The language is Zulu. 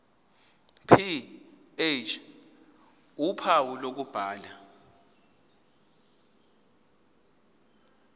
ph uphawu lokubhala